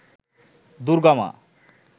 দুর্গা মা